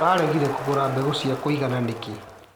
ũragire kũgũra mbegũ cia kũigana nĩkĩ.